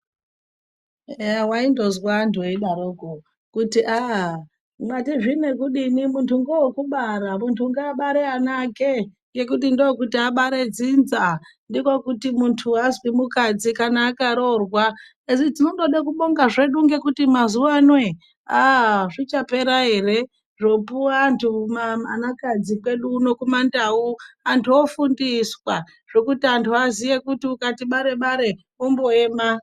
Eya waindonzwa antu eidaroko kuti aa matii zvinokufini muntu ngowo kubara muntu ngaabare ana ake ngekuti ndokuti abare dzinza ndikwo kuti muntu anzwi mukadzi kana akaroorwa asitondoda kubonga zvedu kuti mazuva ano ere aaa zvichapera ere zvopuwa vanhu kumandau vantu vofundiswa vantu voziya kuti ukai bare bare omboema.